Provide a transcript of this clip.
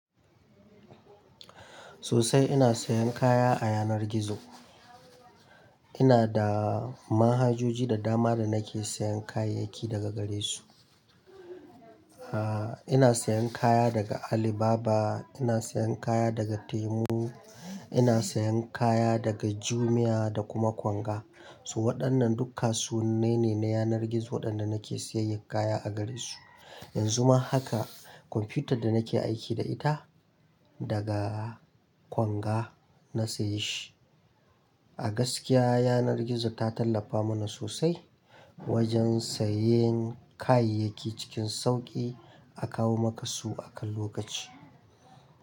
Sosai ina sayan kaya a yanar gizo. Ina da manhajoji da dama da nake sayan kayayyaki daga gare su. Ah, ina sayan kaya daga Alibaba, ina sayan kaya daga Temu, ina sayan kaya daga Jumia da kuma Konga. Su waɗannan duka suwannai ne na yanar gizo waɗanda nake sayayyar kaya a gare su. Yanzu ma haka kwamfiyutar da nake aiki da ita, daga Konga na saye shi. A gaskiya yanar gizo ta tallafa mana sosai wajen sayen kayayyaki cikin sauƙi a kawo maka su akan lokaci.